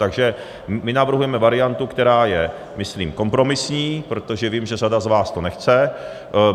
Takže my navrhujeme variantu, která je myslím kompromisní, protože vím, že řada z vás to nechce.